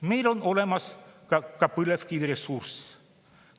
Meil on olemas ka põlevkiviressurss.